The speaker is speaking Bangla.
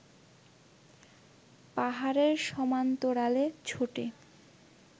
পাহাড়ের সমান্তরালে ছোটে